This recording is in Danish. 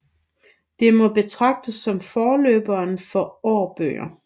Det må betragtes som forløberen for Aarbøger